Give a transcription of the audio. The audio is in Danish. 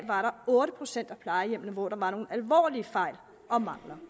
var der otte procent af plejehjemmene hvor der var nogle alvorlige fejl og mangler